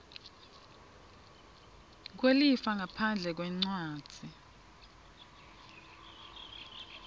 kwelifa ngaphandle kwencwadzi